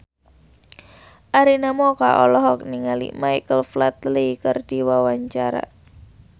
Arina Mocca olohok ningali Michael Flatley keur diwawancara